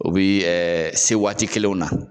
U bi se waati kelenw na.